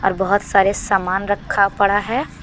बहुत सारे सामान रखा पड़ा है।